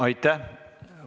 Aitäh!